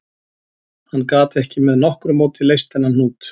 Hann gat ekki með nokkru móti leyst þennan hnút